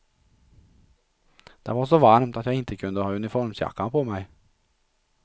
Det var så varmt att jag inte kunde ha uniformsjackan på mig.